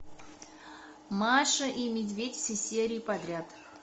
маша и медведь все серии подряд